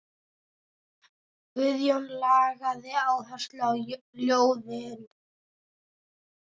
Guðjón lagði áherslu á ljóðin.